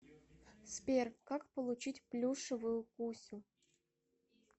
сбер как получить плюшевую кусю